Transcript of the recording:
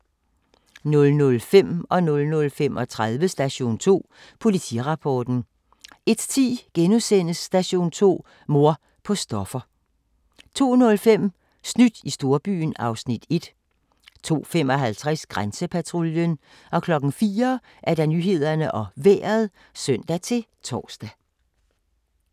00:05: Station 2: Politirapporten 00:35: Station 2: Politirapporten 01:10: Station 2: Mor på stoffer * 02:05: Snydt i storbyen (Afs. 1) 02:55: Grænsepatruljen 04:00: Nyhederne og Vejret (søn-tor)